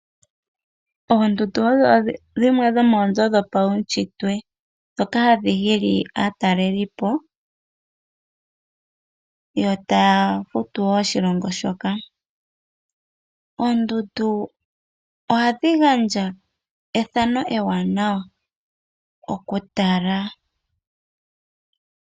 Oondundu odho dhimwe dhomoozo dhopaushitwe dhoka hadhi hili aatalelipo taya futu wo oshilongo shoka, oondundu ohadhi gandja ethano ewanawa okutala.